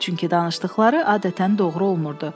Çünki danışdıqları adətən doğru olmurdu.